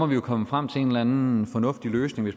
vi jo komme frem til en eller en fornuftig løsning